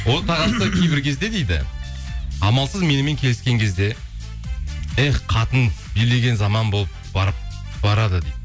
отағасы кейбір кезде дейді амалсыз менімен келіскен кезде эх қатын билеген заман болып барады дейді